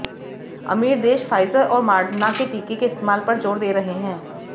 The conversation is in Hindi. अमीर देश फाइजर और मॉडर्ना के टीके के इस्तेमाल पर जोर दे रहे हैं